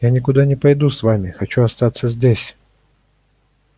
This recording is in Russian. я никуда не пойду с вами хочу остаться здесь